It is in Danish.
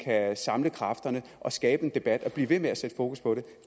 at samle kræfterne og skabe en debat og blive ved med at sætte fokus på